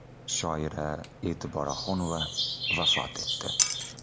Shoira E’tibor Oxunova vafot etdi.